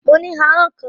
Mo ní ahọ́n kan